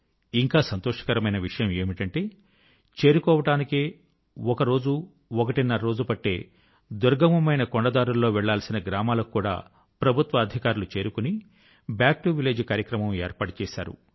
ఇంకా సంతోషకరమైన విషయం ఏమిటంటే చేరుకోవడానికే ఒక రోజు ఒకటిన్నర రోజు పట్టే దుర్గమమైన కొండ దారుల్లో వెళ్ళాల్సిన గ్రామాల కు కూడా ప్రభుత్వాధికారులు చేరుకుని బాక్ టు విలేజ్ కార్యక్రమం ఏర్పాటు చేశారు